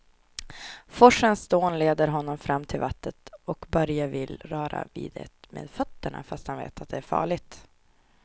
Forsens dån leder honom fram till vattnet och Börje vill röra vid det med fötterna, fast han vet att det är farligt.